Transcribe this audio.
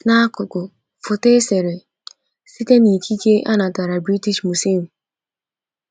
N’akụkụ: Foto e sere site n’ikike a natara British Museum.